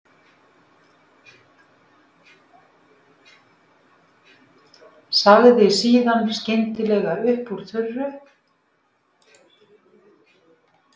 Sagði síðan skyndilega upp úr þurru